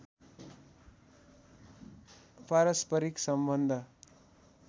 पारस्परिक सम्बन्ध